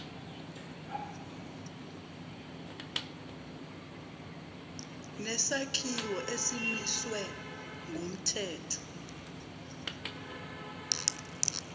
nesakhiwo esimiswe ngumthetho